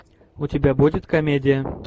у тебя будет комедия